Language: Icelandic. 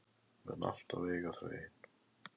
Mun alltaf eiga þau ein.